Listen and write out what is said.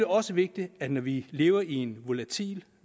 også vigtigt at vi når vi lever i en volatil